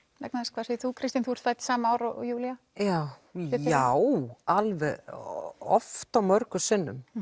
hvað segir þú Kristín þú ert fædd sama ár og Júlía já já alveg oft og mörgum sinnum